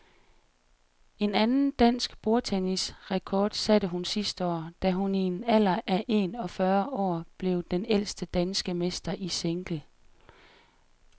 En anden dansk bordtennisrekord satte hun sidste år, da hun i en alder af en og fyrre år blev den ældste danske mester i single.